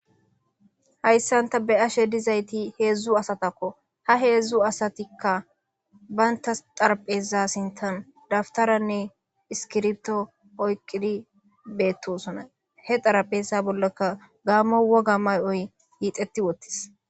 Hayssan ta be7ashe dizayti heezu asatskko. Ha heezu asatikka banttas xarapheeza sinttan daftarenne iskkiribto oyqqidi beettoosona. He xarapheeza bollaka gaammo woga may7oy hiixetti wottis.